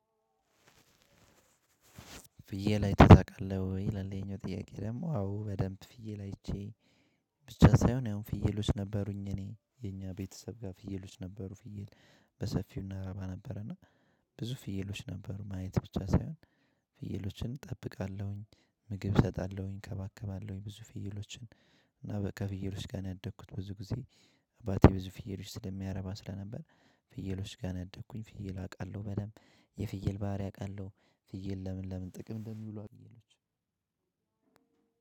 ፍየል አይተህ ታውቃለህ ወይ? ይላል ይሄኛው ጥያቄ ደግሞ አዎ በደንብ ፍየል አይቼ። ብቻ ሳይሆን ያው ፍየሎች ነበሩኝ እኔ የኛ ቤተሰብ ጋር ፍየሎች ነበሩ ፍየል በሰፊው እናረባ ነበርና። ብዙ ፍየሎች ነበሩን ማየት ብቻ ሳይሆን። ፍየሎችን እጠብቃለሁኝ ምግብ እሰጣለሁኝ እከባከባለሁኝ ብዙ ፍየሎችን። እና በከፍየሎች ጋር ነው ያደግኩት ብዙ ጊዜ። አባቴ ብዙ ፍየሎች ስለሚያረባ ስለነበር ፍየሎች ጋር ነው ያደግኩኝ። ፍየል አውቃለው በደምብ የፍየል ባህሪ አውቃለው። ፍየል ለምን ለምን ጥቅም እንደሚሉ አግየሎች